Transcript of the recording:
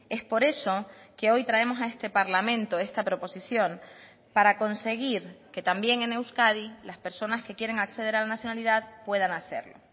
es por eso que hoy traemos a este parlamento esta proposición para conseguir que también en euskadi las personas que quieren acceder a la nacionalidad puedan hacerlo